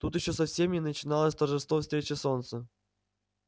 тут ещё совсем и не начиналось торжество встречи солнца